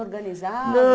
organizava? Não